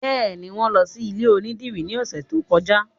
Bẹ́ẹ̀ni, wọn lọ sí ilé onídìrí ní ọ̀sẹ̀ tó kọjá